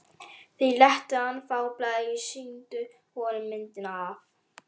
Þeir létu hann fá blaðið og sýndu honum myndina af